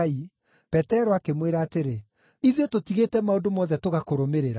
Petero akĩmwĩra atĩrĩ, “Ithuĩ tũtigĩte maũndũ mothe tũgakũrũmĩrĩra!”